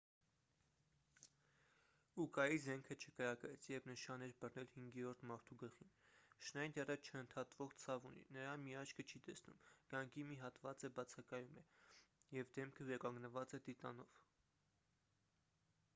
ուկայի զենքը չկրակեց երբ նշան էր բռնել հինգերորդ մարդու գլխին շնայդերը չընդհատվող ցավ ունի նրա մի աչքը չի տեսնում գանգի մի հատված է բացակայում և դեմքը վերականգնված է տիտանով